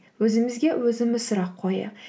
өзімізге өзіміз сұрақ қояйық